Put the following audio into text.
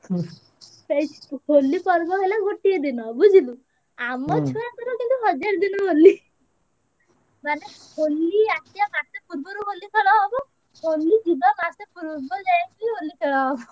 ହଁ ସେଇ ହୋଲି ପର୍ବ ହେଲେ ଗୋଟେ ଦିନ ବୁଝିଲୁ ଆମ ଛୁଆଙ୍କର କିନ୍ତୁ ହଜାର ଦିନ ହୋଲି ବୁଝିଲୁ। ମାନେ ହୋଲି ଆସିବା ବାରଟା ପୂର୍ବରୁ ହୋଲି ଖେଳ ହବ ହୋଲି ଯିବା ମାସେ ଯାଏ ବି ହୋଲି ଖେଳ ହବ